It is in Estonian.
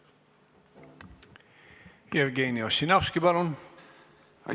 Jevgeni Ossinovski, palun!